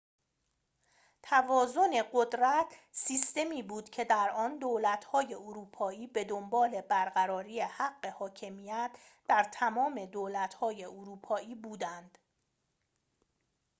توازن قدرت سیستمی بود که در آن دولت‌های اروپایی بدنبال برقراری حق حاکمیت در تمام دولت‌های اروپایی بودند